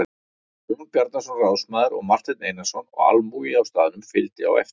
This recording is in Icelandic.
Jón Bjarnason ráðsmaður og Marteinn Einarsson og almúgi á staðnum fylgdi á eftir.